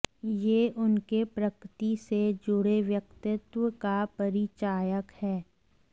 यह उनके प्रकृति से जुड़े व्यक्तित्व का परिचायक है